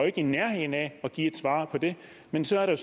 ikke i nærheden af at give et svar på det men så er der